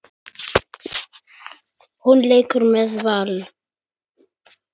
Hún leikur með Val.